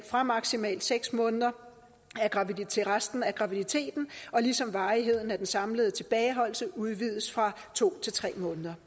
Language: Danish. fra maksimalt seks måneder af graviditeten til resten af graviditeten og ligesom varigheden af den samlede tilbageholdelse udvides fra to til tre måneder